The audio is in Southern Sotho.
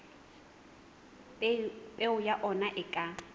peo ya ona e ka